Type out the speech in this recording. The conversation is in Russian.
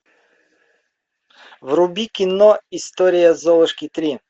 вруби кино история золушки три